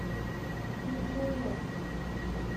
кривой рог